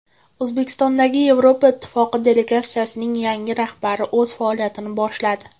O‘zbekistondagi Yevroittifoq delegatsiyasining yangi rahbari o‘z faoliyatini boshladi.